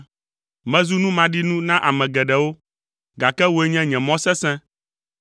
Mezu nu maɖinu na ame geɖewo, gake wòe nye nye mɔ sesẽ.